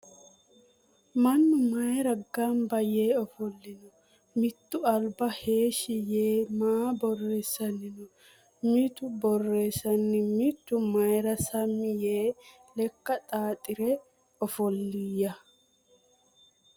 Mannu mayiira gamba yee ofollino? Mitu alba heeshshi yee maa borreessanni noo? Mitu borreessana mitu mayiira Sammi yee lekka xaaxire ofolliya?